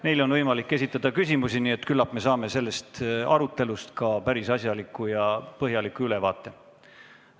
Neile on võimalik esitada ka küsimusi, nii et küllap me saame sellest arutelust päris asjaliku ja põhjaliku ülevaate.